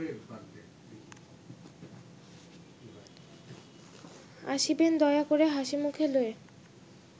আসিবেন দয়া করে হাসিমুখে লয়ে